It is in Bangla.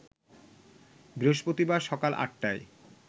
বৃহস্পতিবার সকাল ৮টায়